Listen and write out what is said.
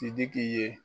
Sidiki ye